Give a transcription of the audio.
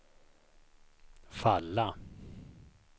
falla